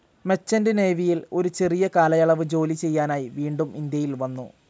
Merchant നേവിയിൽ ഒരു ചെറിയ കാലയളവ് ജോലി ചെയ്യാനായി വീണ്ടും ഇന്ത്യയിൽ വന്നു.